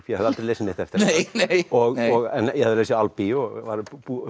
ég hafði aldrei lesið neitt eftir hana ég hafði lesið Albee og var